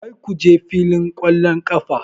Kar ku je filin ƙwallon ƙafa!